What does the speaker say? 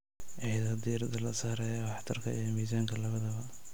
Iyadoo diiradda la saarayo waxtarka iyo miisaanka labadaba.